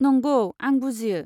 नंगौ, आं बुजियो।